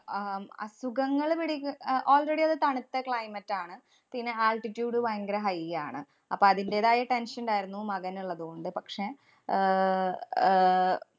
ആഹ് ഉം അസുഖങ്ങള്‍ പിടിക്കു~ അഹ് already അത് തണുത്ത climate ആണ്. പിന്നെ altitude ഭയങ്കര high ആണ്. അപ്പൊ അതിന്‍റേതായ tension ഇണ്ടായിരുന്നു മകനിള്ളത് കൊണ്ട്. പക്ഷേ, ആഹ് ആഹ്